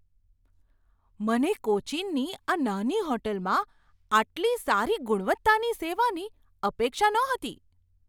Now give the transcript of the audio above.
મને કોચીનની આ નાની હોટલમાં આટલી સારી ગુણવત્તાની સેવાની અપેક્ષા નહોતી!